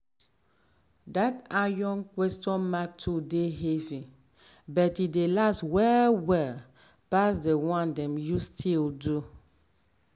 that iron question mark tool dey heavy but e dey last well well pass the one dem use steel do.